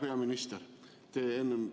Hea peaminister!